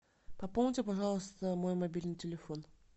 пополните пожалуйста мой мобильный телефон